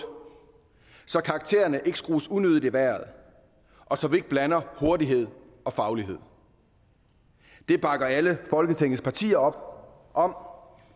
så karaktererne ikke skrues unødigt i vejret og så vi ikke blander hurtighed og faglighed det bakker alle folketingets partier op om